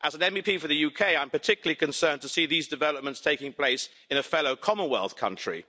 As an MEP for the UK, I'm particularly concerned to see these developments taking place in a fellow Commonwealth country.